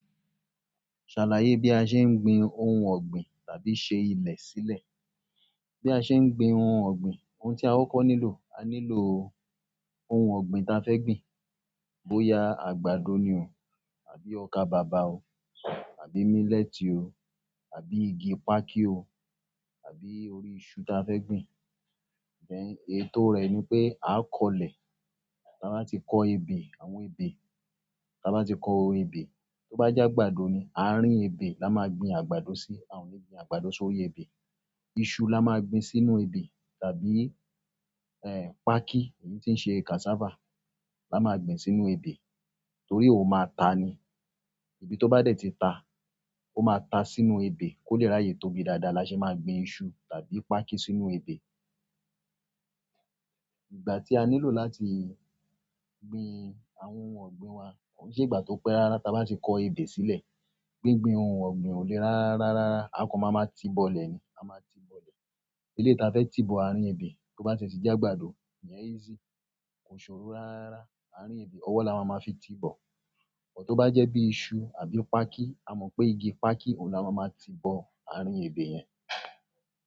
Ṣàlàyé bí a ṣe ń gbin ohun ọ̀gbìn tàbí ṣe ilẹ̀ sílẹ̀. Bí a ṣe ń gbin ohun ọ̀gbìn, ohun tí a kọ́ko nílò, a nílò ohun ọ̀gbìn ta fẹ́ gbìn. Bóyá àgbàdo ni o àbí ọkà bàbà o àbí mílẹ́tì o àbí igi pákí o àbí orí iṣu ta fẹ́ gbìn. Then ètò rẹ ni pé a kọ́lẹ̀. Tá bá ti kọ ebè, àwọn ebè, tá bá ti kọo ebè, tó bá jẹ́ àgbàdo ni, àárín ebè, la máa gbin àgbàdo sí. A o ni gbin àgbàdo sórí ebe. Iṣu la máa gbin sínú ebè tàbí, ẹ́, pákí, èyí tí ń ṣe cassava la máa gbin sínú ebè torí óhun máa ta ni. Ibi tó bá dẹ̀ tí ta, ó máa ta sínú ebè kó le ráyè tóbi dáadáa lasẹ ma gbin iṣu tàbí pákí sínú ebè. Ìgbà tí a nílò láti gbin àwọn ohun ọ̀gbìn wa, ko n ṣe ìgbà tó pé rárá tá bá ti kọ ebè sílẹ̀. Gbingbin ohun ogbin o le rararara, a kan mama ti bole ni a maa ti bole eleyi ta fẹ́ ti bò àárín ebè, tó bá tìe ti jẹ́ àgbàdo, ìyẹn easy. Kosoro rararara àárín ebe owo la maama fi tibo tó bá jẹ́ bí iṣu àbí pákí, a mọ̀ pé igi pákí òun la máa ma ti bò àárín ebè yẹn.